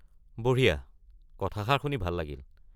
বঢ়িয়া, কথাষাৰ শুনি ভাল লাগিল।